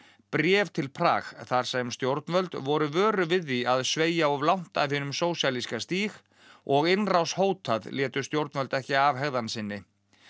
bréf til Prag þar sem stjórnvöld voru vöruð við því að sveigja of langt af hinum sósíalíska stíg og innrás hótað létu stjórnvöld ekki af hegðan sinni